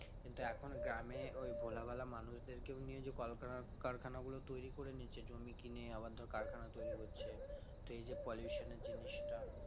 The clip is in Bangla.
কিন্তু এখন গ্রামে ওই ভোলা ভালা মানুষদেরকেও নিয়ে যে কল কারখানাগুলো তৈরি করে নিচ্ছে জমি কিনে আবার ধর কারখানা তৈরি করছে তো এই যে pollution এর জিনিসটা